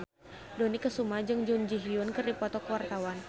Dony Kesuma jeung Jun Ji Hyun keur dipoto ku wartawan